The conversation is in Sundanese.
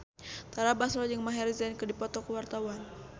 Tara Basro jeung Maher Zein keur dipoto ku wartawan